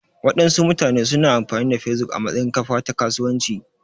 Waɗansu mutane su na amfani da Facebook a matsayin kafa ta kasuwanci